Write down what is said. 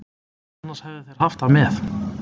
Annars hefðu þeir haft það með.